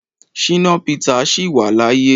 Shina Peter sì wà láyé.